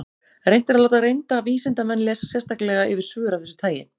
Reynt er að láta reynda vísindamenn lesa sérstaklega yfir svör af þessu tagi.